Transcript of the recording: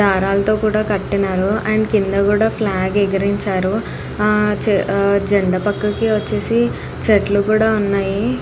దారాలతో కూడా కట్టినారు. అండ్ కింద కూడా ఫ్లాగ్ ఎగిరించారు. ఆ ఆ జెండా పక్కకి వచ్చేసి చెట్లు కుడా ఉన్నాయి.